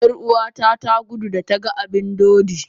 Yar'uwata ta gudu, da ta ga abin dodi.